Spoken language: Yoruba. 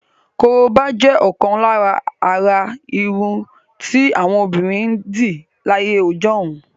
Korobá jẹ́ ọ̀kan lára àrà irun tí àwọn obìnrin ń dì láyé ọjọ́hun.